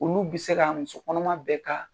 Olu bi se ka musokɔnɔma bɛ ka.